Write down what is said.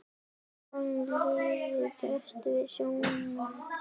Honum liði best í sjónum.